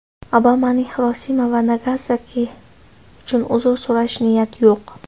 Obamaning Xirosima va Nagasaki uchun uzr so‘rash niyati yo‘q.